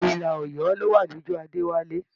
Ilà Ọ̀yọ́ ló wa lójú Adéwálé.